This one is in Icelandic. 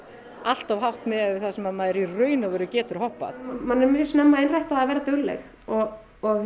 allt of hátt miðað það sem að maður í rauninni getur hoppað manni er mjög snemma innrætt að vera dugleg og